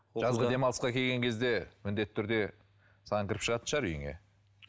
жазғы демалысқа келген кезде міндетті түрде саған кіріп шығатын шығар үйіңе